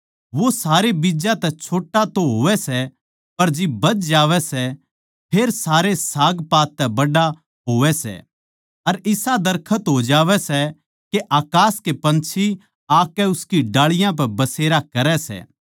वो सारे बीज्जां तै छोट्टा तो होवै सै पर जिब बध जावै सै फेर सारे सागपात तै बड्ड़ा होवै सै अर इसा दरखत हो जावै सै के अकास के पंछी आकै उसकी डाळीयाँ पै बसेरा करै सै